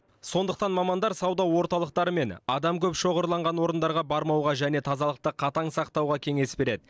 сондықтан мамандар сауда орталықтары мен адам көп шоғырланған орындарға бармауға және тазалықты қатаң сақтауға кеңес береді